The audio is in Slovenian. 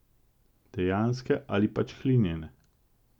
Dejanske ali pač hlinjene.